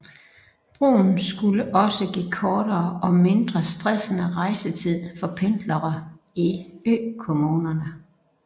Broen skulle også give kortere og mindre stressende rejsetid for pendlere i økommunerne